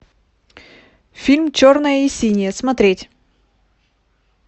фильм черное и синее смотреть